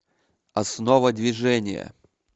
основа движения